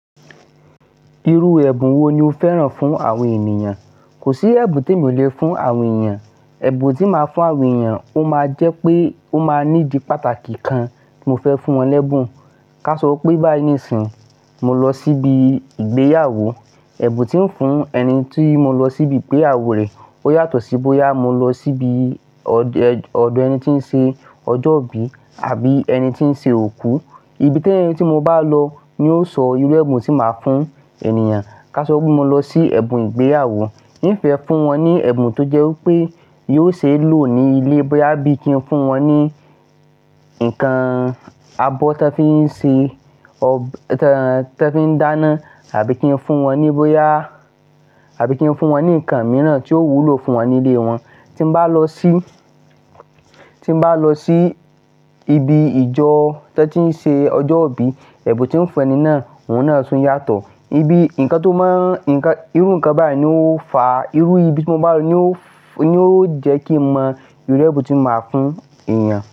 Irú ẹ̀bùn wo ni o fẹ́ran fún àwọn ènìyàn? Kò sí ẹ̀bùn tí mi ò le fún àwọn ènìyàn. Ẹ̀bùn tí màá fún àwọn ènìyàn, ó máa jẹ́ pé ó máa ní di pàtàkì kan ti mo fẹ́ fún wọn lẹ́bùn. Ká sọ pé bá níìsín mo lọ síbi ìgbéyàwó, ẹ̀bùn tí ń fún ẹni tí mo lọ síbi ìgbéyàwó rẹ, ó yàtọ̀ sí bóyá mo lọ síbi ọdẹ, ọdọ ẹni tí ń ṣe ọjọ́ ìbí àbí ẹni tí ń ṣe òkú. Ibi tẹ́ẹ́ni tí mo bá lọ ni yóò sọ irú ẹ̀bùn tí màá fún ènìyàn. Ká sọ pé mo lọ sí ẹ̀bùn ìgbéyàwó, ní ìfẹ́ fún wọn ní ẹ̀bùn tó jẹ́ wípé yóò ṣe lò ní ilé bóyá bí i kí n fún wọn ní ǹkan abọ́ tí wọ́n fi ń ṣe ọ́, tí wọ́n fi ń dáná àbí kí n fún wọn ní bóyá, àbí kí n fún wọn ní ǹkan mìíràn tí ó wúlò fún wọn ní ilé wọn. Tí mo bá lọ sí, tí mo bá lọ sí ibi ìjọ tí wọ́n ti ń ṣe ọjọ́ ìbí, ẹ̀bùn tí ń fẹ́ni náà, òun náà tún yàtọ̀. Ibi ǹkan tó máa ǹkan, irú ǹkan báyìí ni ó fa irú ibi tí mo bá lọ ní ó, ní ó jẹ́ kí mo mọ irú ẹ̀bùn tí màá fún ènìyàn.